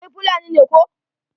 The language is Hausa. Kai Fulani ne koh?